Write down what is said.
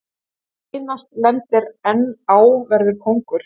Sá sem seinast lendir enn á verður kóngur.